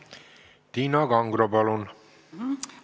Tiina Kangro, palun!